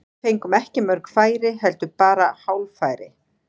Við fengum ekki mörg færi, heldur bara hálffæri.